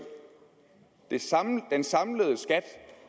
altså den samlede skat